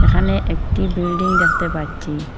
এহানে একটি বিল্ডিং দেখতে পাচ্চি।